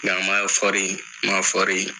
Ka yan fɔɔri, n ma fɔɔri.